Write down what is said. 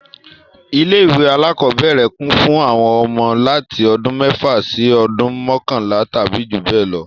Ilé ìwé alákọ́bẹ̀rẹ̀ kún fún àwọn ọmọ láti ọdún mẹ́fà sí ọdún mọkanla tàbí jù bẹ lọ